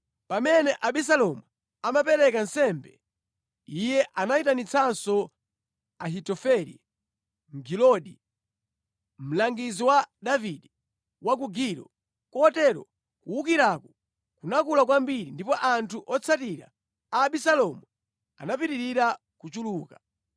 Pamene Abisalomu amapereka nsembe, iye anayitanitsanso Ahitofele Mgiloni, mlangizi wa Davide, wa ku Gilo, kotero kuwukiraku kunakula kwambiri, ndipo anthu otsatira Abisalomu anapitirira kuchuluka.